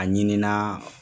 A ɲininaa